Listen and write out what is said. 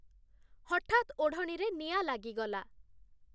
ହଠାତ୍ ଓଢ଼ଣୀରେ ନିଆଁ ଲାଗିଗଲା ।